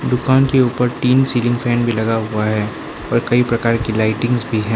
दुकान के ऊपर तीन सीलिंग फैन भी लगा हुआ है और कई प्रकार की लाइटिंगस भी हैं।